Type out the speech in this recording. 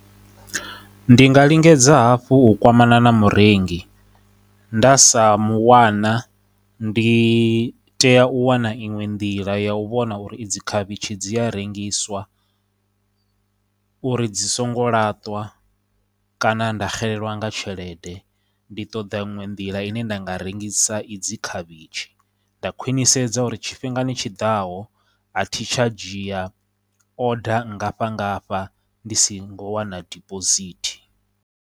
Ndi nga lingedza hafhu u kwamana na murengi, nda sa mu wana ndi tea u wana iṅwe nḓila ya u vhona uri idzi khavhitshi dzi a rengiswa uri dzi songo laṱwa kana nda xelelwa nga tshelede. Ndi ṱoḓa iṅwe nḓila ine nda nga rengisa idzi khavhitshi nda khwinisedza uri tshifhingani tshiḓaho a thi tsha dzhia order nngafha ngafha ndi si ngo wana deposit.